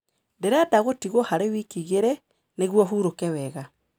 Ndĩrenda gũtigwo harĩ wiki igĩrĩ, nĩguo hurũke wega.